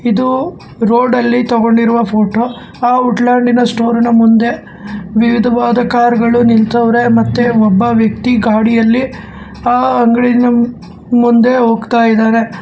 ಇದು ರೋಡ್ ಅಲ್ಲಿ ತೊಗೊಂಡಿರುವ ಫೋಟೋ ಆ ವುಡ್ಲ್ಯಾಂಡ್ ದಿನ ಸ್ಟೋರಿನ ಮುಂದೆ ವಿವಿದವಾದ ಕಾರು ಗಳು ನಿಲ್ಸಾರೆ ಮತ್ತೆ ಒಬ್ಬ ವ್ಯಕ್ತಿ ಗಡಿಯಲ್ಲಿ ಆ ಅಂಗಡಿಯ ಮುಂದೆ ಹೋಗ್ತಾಇದಾನೆ.